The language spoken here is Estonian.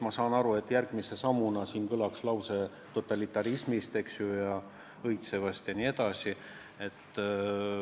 Ma saan aru, et järgmise sammuna siin kõlaks süüdistus õitsvas totalitarismis, eks ju.